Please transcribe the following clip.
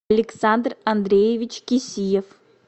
александр андреевич кисиев